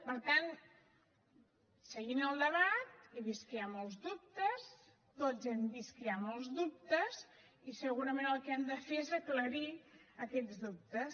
per tant seguint el debat he vist que hi ha molts dubtes tots hem vist que hi ha molts dubtes i segurament el que hem de fer és aclarir aquests dubtes